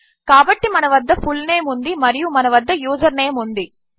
కాబట్టిమనవద్ద full name ఉందిమరియుమనవద్ద username ఉంది